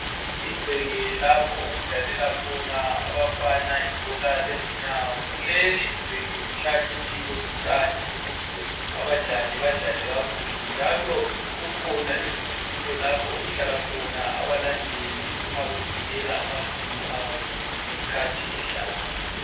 Igceke lapho okudlalela khona abafana ibhola lezinyawo kuleligceke kuhlanyeliwe utshani ukuze abadlali badlale kakuhle njalo kukhona izitulo lapho okuhlala khona abalandeli uma besekela amaqembu abo ngeskhathi edlala.